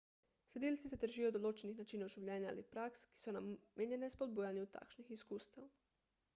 sledilci se držijo določenih načinov življenja ali praks ki so namenjene spodbujanju takšnih izkustev